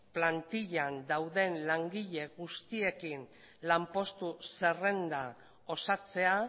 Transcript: plantilan dauden langile guztiekin lanpostu zerrenda osatzea